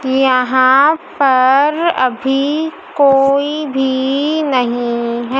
यहां पर अभी कोई भी नहीं हैं।